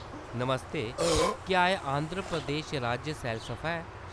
नमस्ते, क्या एह्‌‌ आंध्र प्रदेश राज्य सैलसफा ऐ ?